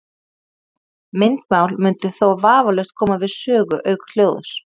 Myndmál mundi þó vafalaust koma við sögu auk hljóðs.